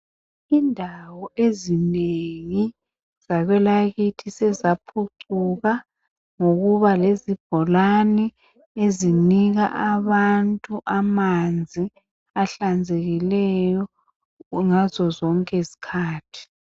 Indawo ezinengi zakwelakithi sezaphucuka ngokuba lezibholani ezinika abantu amanzi ahlanzekileyo ngazo zonke izikhathi.